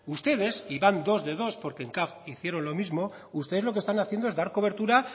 ustedes y van dos de dos porque en caf hicieron lo mismo lo que están haciendo es dar cobertura